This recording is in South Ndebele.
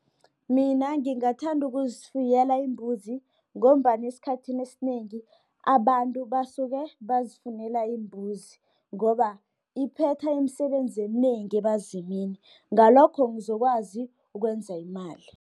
Mina ngingathanda ukuzifuyela iimbuzi, ngombana esikhathini esinengi abantu basuke bazifunele iimbuzi, ngoba iphetha imisebenzi eminengi ebazimini, ngalokho ngizokwazi ukwenza imali.